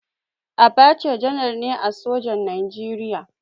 Abacha janar ne a sojan Najeriya.